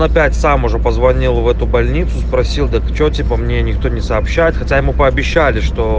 опять сам уже позвонил в эту больницу спросил да то что типа мне никто не сообщает хотя ему пообещали что